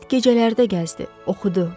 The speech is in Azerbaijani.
Zülmət gecələrdə gəzdi, oxudu.